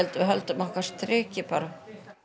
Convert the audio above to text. við höldum okkar striki bara